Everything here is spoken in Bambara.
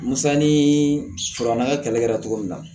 Musa ni farala kɛlɛ kɛra cogo min na